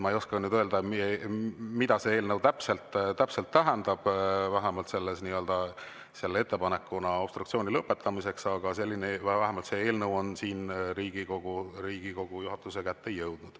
Ma ei oska nüüd öelda, mida see eelnõu täpselt tähendab, vähemalt selle obstruktsiooni lõpetamise, aga vähemalt see eelnõu on Riigikogu juhatuse kätte jõudnud.